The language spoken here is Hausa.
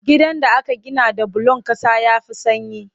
Gidan da aka gina da bulon ƙasa ya fi sanyi